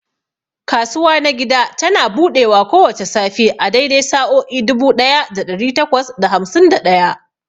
Kasuwa na gida tana buɗewa kowace safe a daidai sa'o'i dubu ɗaya da ɗari takwas da hamsin da ɗaya.